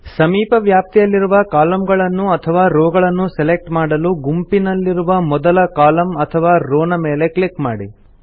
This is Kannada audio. ಸಮೀಪ ವ್ಯಾಪ್ತಿಯಲ್ಲಿರುವ ಕಾಲಮ್ ಗಳನ್ನು ಅಥವಾ ರೋ ಗಳನ್ನು ಸೆಲೆಕ್ಟ್ ಮಾಡಲು ಗುಂಪಿನಲ್ಲಿರುವ ಮೊದಲ ಕಾಲಮ್ ಅಥವಾ ರೋ ನ ಮೇಲೆ ಕ್ಲಿಕ್ ಮಾಡಿ